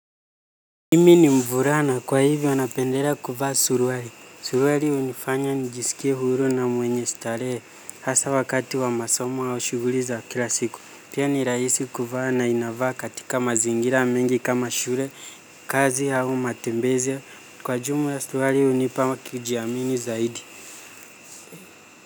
Mimi ni mvulana kwa hivyo napendelea kuvaa suruali. Suruali hunifanya nijisikie huru na mwenye starehe. Hasa wakati wa masomo au shuguli za kila siku. Pia ni rahisi kuvaa na inavaa katika mazingira mengi kama shule kazi au matembezi. Kwa jumla suruali hunipa kujiamini zaidi.